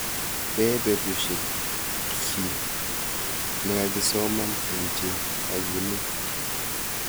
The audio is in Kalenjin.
Pee tebushek kiy nekakisoman eng' che kakinet